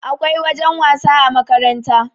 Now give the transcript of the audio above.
akwai wajen wasa a makaranta